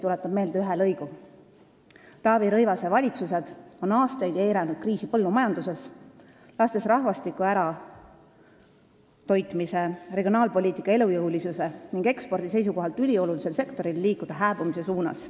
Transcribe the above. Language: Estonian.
Tuletan meelde ühe lõigu sellest umbusaldusavaldusest: "Taavi Rõivase valitsused on aastaid eiranud kriisi põllumajanduses, lastes rahvastiku ära toitmise, regionaalpoliitika elujõulisuse ning ekspordi seisukohalt üliolulisel sektoril liikuda hääbumise suunas.